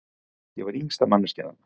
Ég var yngsta manneskjan þarna.